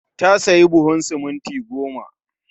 Ta sayi buhun siminti goma